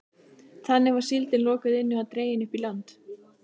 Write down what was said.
Þannig var síldin lokuð inni og dregin upp í land.